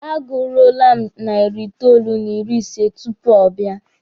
A gụruole m narị itoolu n'ịrị ise tupu ọ bịa.